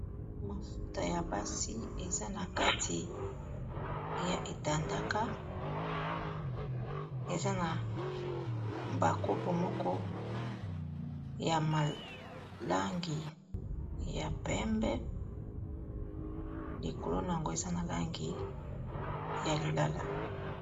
Mafuta ya basi eza na kati ya etandaka eza na ba kopo moko ya malangi ya pembe likolo na yango eza na langi ya lilala.